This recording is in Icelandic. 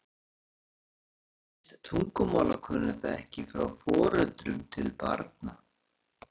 Til dæmis erfist tungumálakunnátta ekki frá foreldrum til barna.